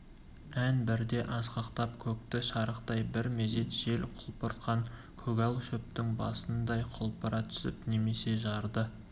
ән бірде асқақтап көкті шарықтай бір мезет жел құлпыртқан көгал шөптің басындай құлпыра түсіп немесе жарды